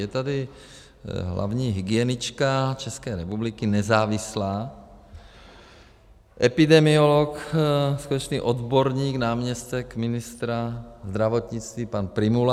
Je tady hlavní hygienička České republiky, nezávislá, epidemiolog, skutečný odborník, náměstek ministra zdravotnictví pan Prymula.